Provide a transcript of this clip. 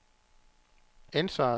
ansvaret